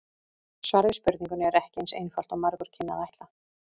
Svarið við spurningunni er ekki eins einfalt og margur kynni að ætla.